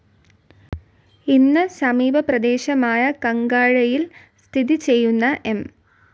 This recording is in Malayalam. ഇന്ന് സമീപ പ്രേദേശമായ കാങ്കഴയിൽ സ്ഥിതി ചെയ്യുന്ന എം